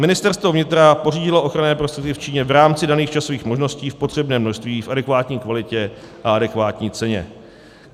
Ministerstvo vnitra pořídilo ochranné prostředky v Číně v rámci daných časových možností v potřebném množství, v adekvátní kvalitě a adekvátní ceně.